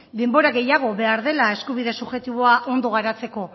denbora gehiago behar dela eskubide subjektiboa ondo garatzeko